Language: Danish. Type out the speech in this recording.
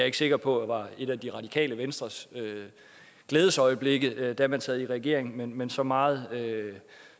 ikke sikker på var et af det radikale venstres glædesøjeblikke da man sad i regeringen men men så meget